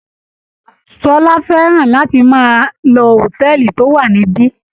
Ṣọlá fẹ́ràn láti máa lọ hòtẹ́ẹ̀lì tó wà níbí.